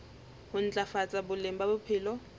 ho ntlafatsa boleng ba bophelo